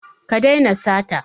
Ka daina sata.